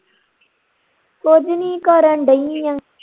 ਕੁਝ ਨੀ ਕਰਨ ਦਈ ਆ